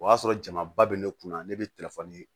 O y'a sɔrɔ jamaba bɛ ne kun na ne bɛ telefɔni di